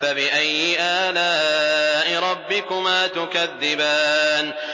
فَبِأَيِّ آلَاءِ رَبِّكُمَا تُكَذِّبَانِ